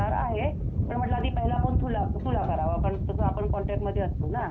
पण म्हटलं आधी पहिला फोन तुला करावा कारण तसं आपण कॉन्टॅक्टमध्ये असतो ना त्याच्यामुळे.